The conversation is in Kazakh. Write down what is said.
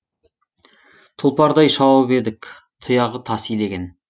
тұлпардай шауып едік тұяғы тас илеген